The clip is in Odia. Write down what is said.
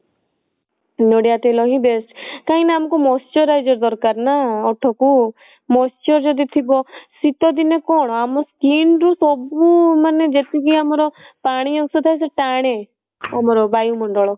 ନଡିଆ ତେଲ ହିଁ best କାଇଁ ନା ଆମକୁ moisturizer ଦରକାର ନା ଓଠ କୁ moisture ଯଦି ଥିବ ଶିତ ଦିନେ କଣ ଆମ skin ରେ ସବୁ ମାନେ ଯେତିକି ଆମର ପାଣି ଅଂସ ଥାଏ ସେ ଟାଣେ ଆମର ବାୟୁ ମଣ୍ଡଳ